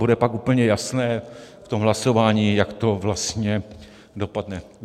Bude pak úplně jasné v tom hlasování, jak to vlastně dopadne.